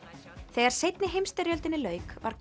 þegar seinni heimsstyrjöldinni lauk var